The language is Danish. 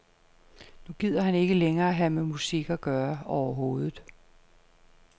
Nu gider han ikke længere have med musik at gøre overhovedet.